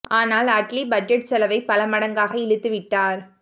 ஆனால் அட்லீ பட்ஜெட் செலவை பல மடங்காக இழுத்து விட்டார்